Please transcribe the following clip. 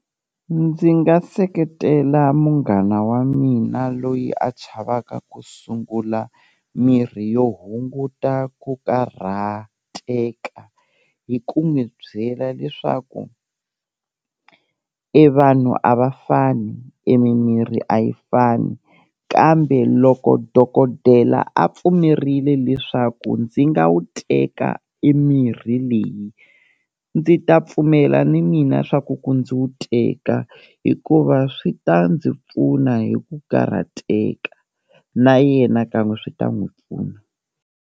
Ndzi nga seketela munghana wa mina loyi a chavaka ku sungula mirhi yo hunguta ku karhateka hi ku n'wi byela leswaku e vanhu a va fani, e mimirhi a yi fani kambe loko dokodela a pfumerile leswaku ndzi nga wu teka e mirhi leyi, ndzi ta pfumela ni mina swa ku ku ndzi wu teka hikuva swi ta ndzi pfuna hi ku karhateka, na yena kan'we swi ta n'wi pfuna.